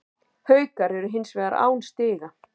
Haukar eru hins vegar án stiga